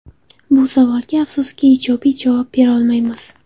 Bu savolga, afsuski, ijobiy javob berolmaymiz.